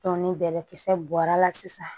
ni bɛlɛkisɛ bɔra la sisan